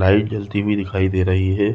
Light जलती दिखाई दे रही है।